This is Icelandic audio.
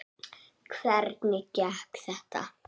Hvernig gekk þetta?